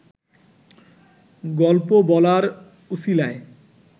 গল্প বলার উছিলায়